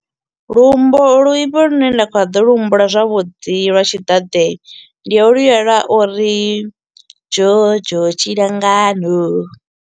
Lumbo luimbo lune nda kha ḓi lu humbula zwavhuḓi lwa tshiḓaḓe, ndi holula lwa uri, dzhodzho tshilangano.